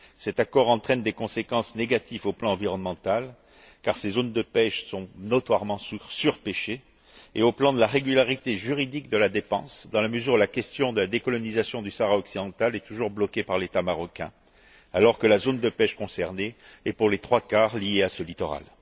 Cet accord entraîne des conséquences négatives au plan environnemental, car ces zones de pêche sont notoirement surpêchées, et au plan de la régularité juridique de la dépense, dans la mesure où la question de la décolonisation du Sahara occidental est toujours bloquée par l'État marocain, alors que la zone de pêche concernée est, pour les trois quarts, liée à ce littoral.